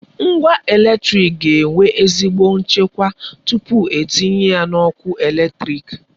Ngwa eletrịk ga enwe ezigbo nchekwa tupu etinye ya n'ọkụ eletrịk.